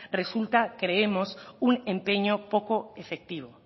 resulta creemos un empeño poco efectivo